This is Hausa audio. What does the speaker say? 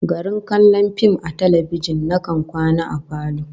Garin kallon fim a talbijin, nakan kwana a falo